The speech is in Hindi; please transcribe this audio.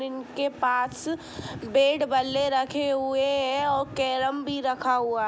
इनके पास बैट बल्ले रखे हुए हैं और कैरम भी रखा हुआ --